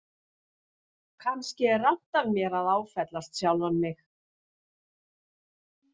Kannski er rangt af mér að áfellast sjálfan mig.